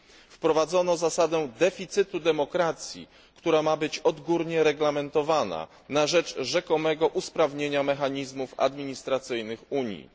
Wprowadzono zasadę deficytu demokracji, która ma być odgórnie reglamentowana na rzecz rzekomego usprawnienia mechanizmów administracyjnych Unii.